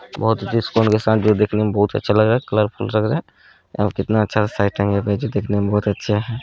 बहूत ही डिस्काउंट के साथ जो देखने में बहुत ही अच्छा लग रहा है कलरफूल लग रहा है यहाँ पे कितना अच्छा सेटिंग है जो दिखने में बहुत ही अच्छा है।